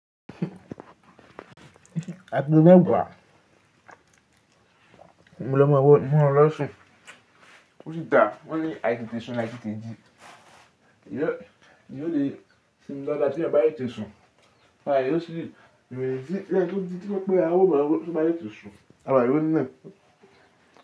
Àpẹ̀lẹ́ gba, mo ló máa wọ inú ọlọṣun, ó sì dà wón ní àìṣòòtọ̀ ṣùn láì tíì tẹ́ji. Eyọ, èyí ó lè sinmi lọ́la tí mo bá yọ ìtẹsùn, màá yóò sì rìn níbi tí ńlá tó ti fẹ́ pẹ́ a ó bá lọ, tí mo bá yọ ìtẹsùn, a máa rí i runínà.